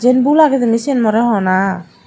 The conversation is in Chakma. jin bhul age jani sin mwre hona.